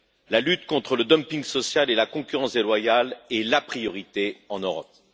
La lutte contre le dumping social et la concurrence déloyale est la priorité en Europe.